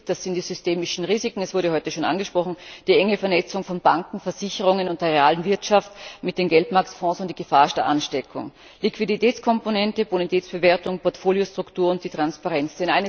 Das sind die systemischen Risiken das wurde heute schon angesprochen die enge Vernetzung von Banken, Versicherungen und der realen Wirtschaft mit den Geldmarktfonds und die Gefahr der Ansteckung, Liquiditätskomponente, Bonitätsbewertung, Portfoliostruktur und die Transparenz.